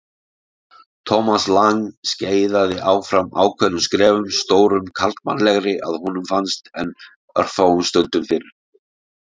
Thomas Lang skeiðaði áfram ákveðnum skrefum, stórum karlmannlegri að honum fannst en örfáum stundum fyrr.